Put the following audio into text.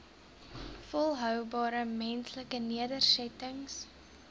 volhoubare menslike nedersettings